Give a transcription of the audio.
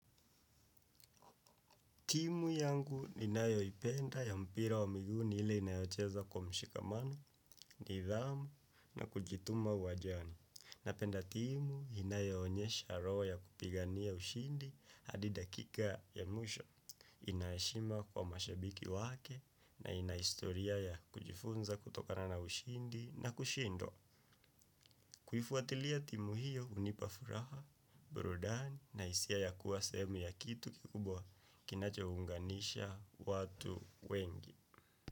Timu yangu ni nayo ipenda ya mpira wa miguni hile inayocheza kwa mshikamano, nidhamu na kujituma uwajani. Napenda timu inayoomyesha roho ya kupigania ushindi hadi dakika ya mwisho ina heshima kwa mashabiki wake na ina historia ya kujifunza kutokana na ushindi na kushindwa. Kuhifu watilia timu hiyo unipafuraha, burudani na isia ya kuwa semu ya kitu kikubwa kinacho unganisha watu wengi.